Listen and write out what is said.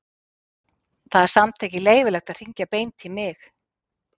Það er samt ekki leyfilegt að hringja beint í mig.